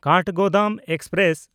Kathgodam express